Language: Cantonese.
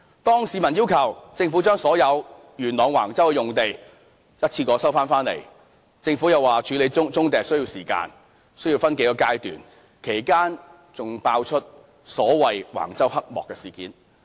當市民要求政府將元朗橫洲的用地一次過收回時，政府又指處理棕地需要時間，需要分數個階段，其間還爆出所謂橫洲黑幕事件。